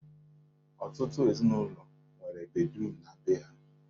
Ọtụtụ ezinụlọ nwere bediruum na be ha.